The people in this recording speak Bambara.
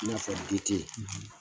I n'a fɔ de te ye.